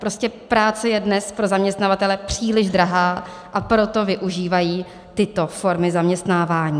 Prostě práce je dnes pro zaměstnavatele příliš drahá, a proto využívají tyto formy zaměstnávání.